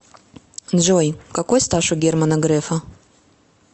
джой какой стаж у германа грефа